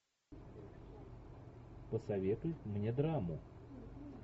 посоветуй мне драму